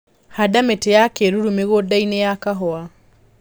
Handa mĩtĩ ya kĩruru mĩgũndainĩ ya kahua.